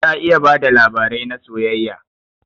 Ta iya bada labarai na soyayya.